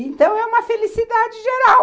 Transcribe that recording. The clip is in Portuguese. Então, é uma felicidade geral.